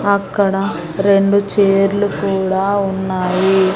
అక్కడ రెండు చైర్లు కూడా ఉన్నాయి.